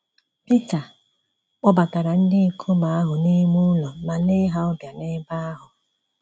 Pita kpọbatara ndị ikom ahụ n’ime ụlọ ma lee ha ọbịa n'ebe ahụ.